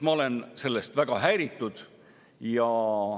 Ma olen sellest väga häiritud.